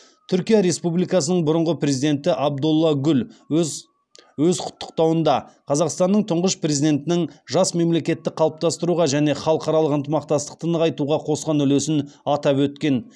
түркия республикасының бұрынғы президенті абдулла гүл өз өз құттықтауында қазақстанның тұңғыш президентінің жас мемлекетті қалыптастыруға және халықаралық ынтымақтастықты нығайтуға қосқан үлесін атап өткен